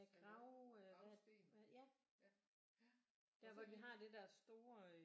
Ja grav hvad er det ja der hvor de har det der store